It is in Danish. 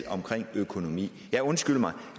omkring økonomi ja undskyld mig